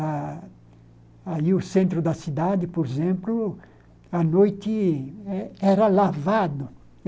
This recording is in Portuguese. A aí o centro da cidade, por exemplo, à noite er era lavado.